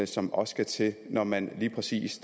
som også skal til når man lige præcis